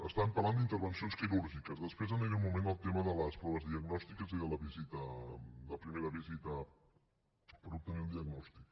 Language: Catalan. estàvem parlant d’intervencions quirúrgiques després aniré un moment al tema de les proves diagnòstiques i de la primera visita per obtenir un diagnòstic